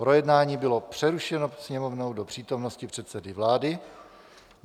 Projednání bylo přerušeno Sněmovnou do přítomnosti předsedy vlády.